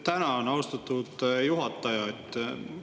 Tänan, austatud juhataja!